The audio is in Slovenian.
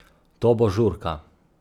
To bo žurka.